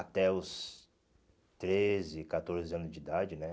Até os treze, catorze anos de idade, né?